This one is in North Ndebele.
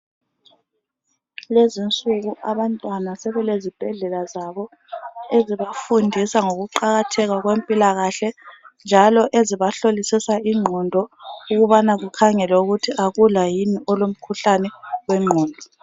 Lezinsuku abantwana sebelezibhedlela zabo. Ezibafundisa ngokuqakatheka kwempilakahle, njalo ezibahlolisisa ingqondo ukubana kukhangelwe ukuthi akula yini olomkhuhlane wengqondo.